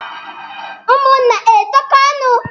Ụmụnna na-etokọ ọnụ.